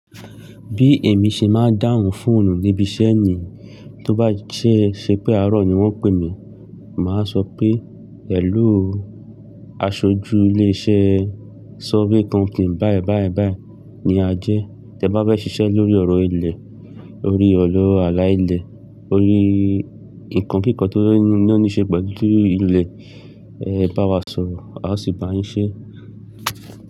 Bí èmi ṣe máa dáhùn fóònù níbi iṣẹ́ ni tó bá ṣé ṣe pé àárọ̀ ni wọ́n pè mí, màá sọ pé, "Hello, aṣojú ilé-iṣẹ́ survey kọnkìǹ bá ẹ bá ẹ bá ẹ ní a jẹ́. Tẹ bá fẹ́ ṣiṣẹ́ lórí ọ̀rọ̀ ilẹ̀, orí ọ̀rọ̀ aláìlẹ̀, orí ǹkan kankan tó ní ó ní ṣe pẹ̀lú ilẹ̀, ẹ bá wa sọ̀rọ̀ a sì bá ń ṣe é."